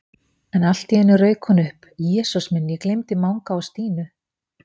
En allt í einu rauk hún upp: Jesús minn, ég gleymdi Manga og Stínu